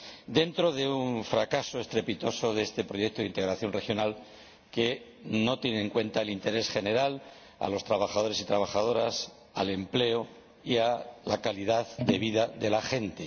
Nos encontramos ante un fracaso estrepitoso de este proyecto de integración regional, que no tiene en cuenta el interés general, a los trabajadores y las trabajadoras, el empleo y la calidad de vida de la gente.